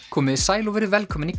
komiði sæl og verið velkomin í